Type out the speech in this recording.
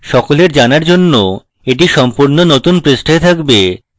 সকলের জানার জন্য এটি সম্পূর্ণ নতুন পৃষ্ঠায় থাকবে